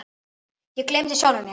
Ég gleymdi sjálfum mér.